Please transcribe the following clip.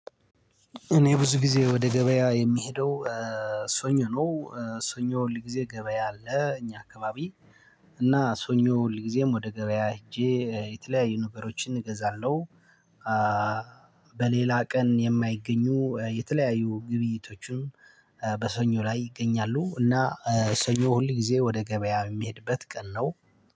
እኔ ብዙ ጊዜ ወደ ገበያ የምሄደው። ሰኞ ነው ሰኞ ሁል ጊዜ ገበያ አለ እኛ አካባቢ። እና ሰኞ ሁል ጊዜም ወደ ገበያ ሄጄ የተለያዩ ነገሮችን እገዛለሁ። በሌላ ቀን የማይገኙ የተለያዩ ግብይቶቹም በሰኞ ላይ ይገኛሉ። እና ሰኞ ሁል ጊዜ ወደ ገበያ የሚሄድበት ቀን ነው።